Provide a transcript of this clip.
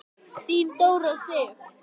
Þín Dóra Sif.